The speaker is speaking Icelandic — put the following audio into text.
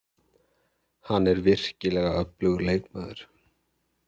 Hann er virkilega öflugur leikmaður.